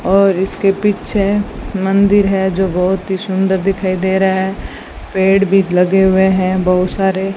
और इसके पीछे मंदिर है जो बहुत ही सुंदर दिखाई दे रहा है पेड़ भी लगे हुए हैं बहुत सारे।